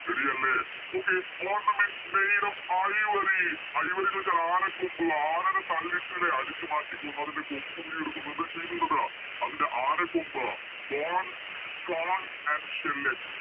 Ready അല്ലെ okay ornaments made of ivory ivory ചോയിച്ചാല് ആനക്കൊമ്പ് ആനെന പല്ലിട്ട് ലെ അടിച്ച് മാറ്റിക്കൊന്ന് അതിൻറെ കൊമ്പ് ഊരിയെടുക്കും എന്ത് ചെയ്യും എന്നിട്ട് അതിൻറെ ആനക്കൊമ്പ് Bones stones and shell